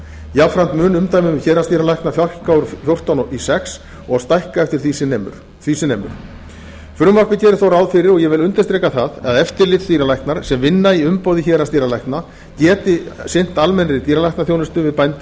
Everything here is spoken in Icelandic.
jafnframt mun umdæmum héraðsdýralækna fækka úr fjórtán í sex og stækka sem því nemur frumvarpið gerir þó ráð fyrir og ég vil undirstrika það að eftirlitsdýralæknar sem vinna í umboði héraðsdýralækna geti sinnt almennri dýralæknisþjónustu við bændur og